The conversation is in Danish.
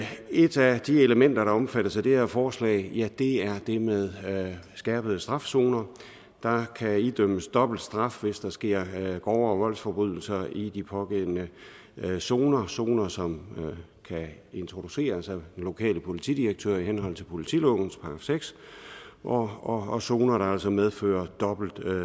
et af de elementer der omfattes af det her forslag er det med skærpet straf zoner der kan idømmes dobbelt straf hvis der sker grovere voldsforbrydelser i de pågældende zoner zoner som kan introduceres af den lokale politidirektør i henhold til politilovens § seks og og zoner der altså medfører dobbelt